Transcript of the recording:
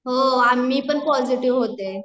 हो, मी पण पॉजिटिव होते